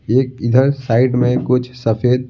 एक इधर साइड में कुछ सफेद--